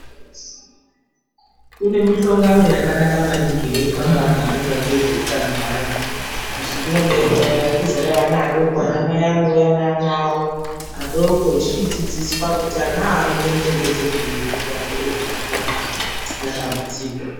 Kune mihlongano yakanaka maningi inoitwa ngevanoona ngezveutano hweanhu azhinji ana mai anouya naana awo adoko echichidzidziswa kuti anaawa anoitwa muchengeterweri kuti akure zvakanaka pasina dambudziko.